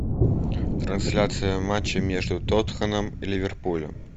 трансляция матча между тоттенхэмом и ливерпулем